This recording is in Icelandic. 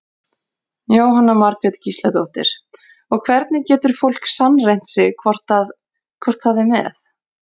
Jóhanna Margrét Gísladóttir: Og hvernig getur fólk sannreynt sig hvort að, hvort það er með?